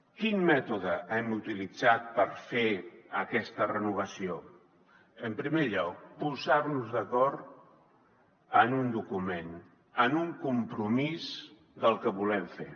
quin mètode hem utilitzat per fer aquesta renovació en primer lloc posar nos d’acord en un document en un compromís del que volem fer